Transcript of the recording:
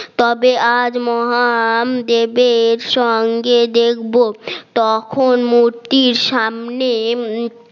তবে আজ মহান দেবের সঙ্গে দেখব তখন মূর্তির সামনে